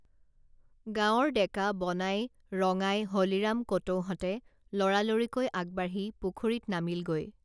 গাঁওৰ ডেকা বনাই ৰঙাই হলিৰাম কটৌহঁতে লৰালৰিকৈ আগবাঢ়ি পুখুৰীত নামিলগৈ